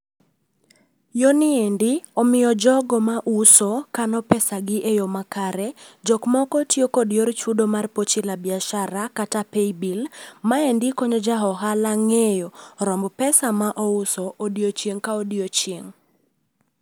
Yoni endi omiyo jogo mauso kano pesagi e yo makare. Jokmoko tiyo kod yor chudo mar pochi la biashara kata paybill maendi konyo ja ohala ng'eyo romb pesa ma ouso odiechieng' ka odiechieng'